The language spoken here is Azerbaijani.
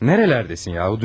Nəerələrdəsin yahu?